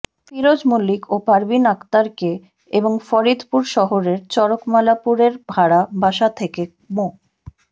ফিরোজ মল্লিক ও পারভীন আক্তারকে এবং ফরিদপুর শহরের চরকমলাপুরে ভাড়া বাসা থেকে মো